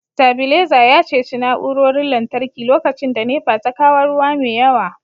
stabilizer ya ceci na'urorin lantarki lokacin da NEPA ta kawo ruwa mai yawa